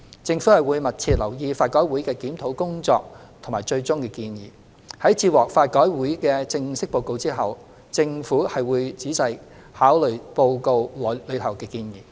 政府會密切留意法改會的檢討工作和最終建議。在接獲法改會的正式報告後，政府定會細心考慮報告內的建議。